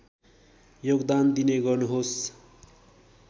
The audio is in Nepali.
योगदान दिने गर्नुहोस्